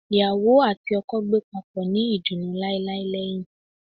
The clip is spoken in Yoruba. Iyawo ati oko gbe papo ni idunnu lailai lẹhin